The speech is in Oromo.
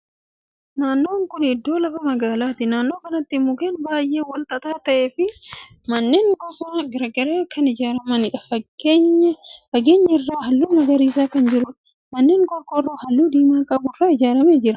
Naannoon kuni iddoo lafa magaalaati. Naannoo kanatti mukkeen baay'ee walxaxaa ta'ee fi manneen gosa garagaraa kan jiruudha. Fageenya irraa haalluun garagaraa kan jiruudha. Manneen qorqoorroo haalluu diimaa qabu irraa ijaarame ni jira.